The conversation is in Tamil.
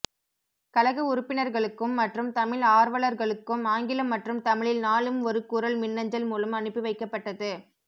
கழக உறுப்பினர்களுக்கும் மற்றும் தமிழ் ஆர்வலர்களுக்கும் ஆங்கிலம் மற்றும் தமிழில் நாளும் ஒரு குறள் மின்னஞ்சல் மூலம் அனுப்பி வைக்கப்பட்டது